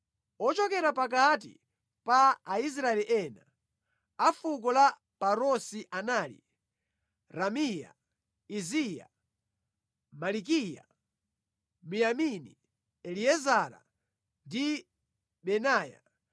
Ochokera pakati pa Aisraeli ena: a fuko la Parosi anali Ramiya, Iziya, Malikiya, Miyamini, Eliezara, ndi Benaya.